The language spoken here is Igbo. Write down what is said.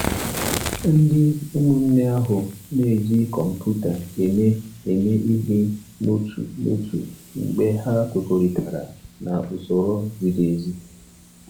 Ndị ụmụnne ahụ na-eji kọmputa eme eme ihe n'otu n'otu mgbe ha kwekọrịtara na usoro ziri ezi.